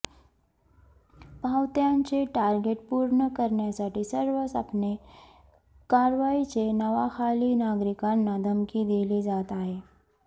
पावत्यांचे target पुर्ण करण्यासाठी सर्रासपणे कारवाईच्या नावाखाली नागरिकांना धमकी दिली जात आहे